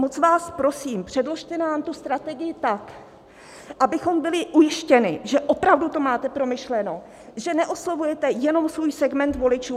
Moc vás prosím, předložte nám tu strategii tak, abychom byli ujištěni, že opravdu to máte promyšleno, že neoslovujete jenom svůj segment voličů.